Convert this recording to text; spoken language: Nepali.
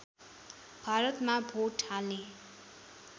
भारतमा भोट हाल्ने